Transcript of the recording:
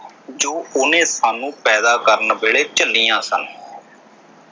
ਜੋ ਉਹਨੇ ਸਾਨੂੰ ਪੈਦਾ ਕਰਨ ਵੇਲੇ ਝੱਲੀਆਂ ਸਨ।